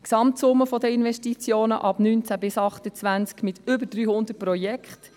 die Gesamtsumme der Investitionen ab 2019 bis 2028 mit über 300 Projekten;